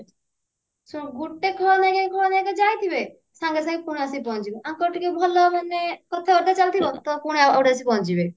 ଶୁଣ ଗୁଟେ ଖଳନାୟିକା ଖଳନାୟିକା ଯାହା ଥିବେ ସାଙ୍ଗେ ସାଙ୍ଗେ ପୁଣି ଆସିକି ପହଞ୍ଚିବ ୟାଙ୍କର ଟିକେ ଭଲ ମାନେ କଥାବାର୍ତ୍ତା ଚାଲିଥିବ ତ ପୁଣି ଆଉ ଗୋଟେ ଆସିକି ପହଞ୍ଚିଯିବେ